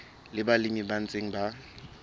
le balemi ba ntseng ba